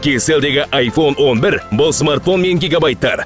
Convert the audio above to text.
кейселдегі айфон он бір бұл смартфон мен гигабайттар